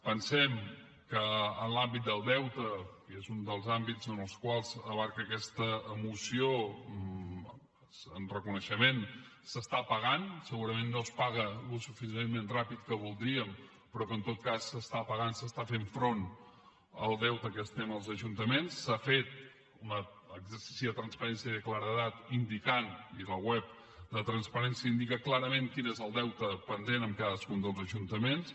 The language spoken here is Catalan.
pensem que en l’àmbit del deute que és un dels àmbits que abasta aquesta moció en reconeixement s’està pagant segurament no es paga el suficientment ràpid que voldríem però que en tot cas s’està pagant s’està fent front al deute que tenim els ajuntaments s’ha fet un exercici de transparència i de claredat indicant i la web de transparència ho indica clarament quin és el deute pendent amb cadascun dels ajuntaments